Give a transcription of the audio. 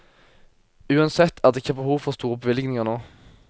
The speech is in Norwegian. Uansett er det ikke behov for store bevilgninger nå.